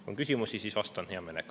Kui on küsimusi, siis vastan hea meelega.